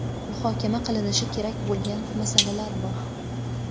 muhokama qilinishi kerak bo‘lgan masalalar bor.